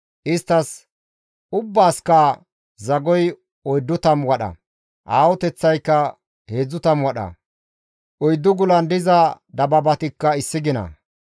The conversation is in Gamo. Isttas ubbaasikka zagoy 40 wadha; aahoteththaykka 30 wadha; oyddu gulan diza dabaabatikka issi gina.